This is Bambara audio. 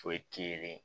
Foyi t'i yelen